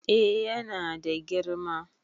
eh yana da girma